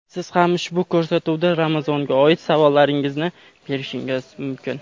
siz ham ushbu ko‘rsatuvda Ramazonga oid savollaringizni berishingiz mumkin.